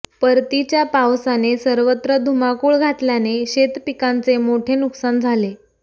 परतीच्या पावसाने सर्वत्र धुमाकूळ घातल्याने शेतपिकांचे मोठे नुकसान झाले